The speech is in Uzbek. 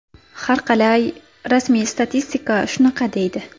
Harqalay, rasmiy statistika shunaqa deydi.